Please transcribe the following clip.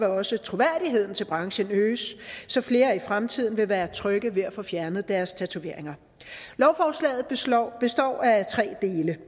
også troværdigheden til branchen øges så flere i fremtiden vil være trygge ved at få fjernet deres tatoveringer lovforslaget består af tre dele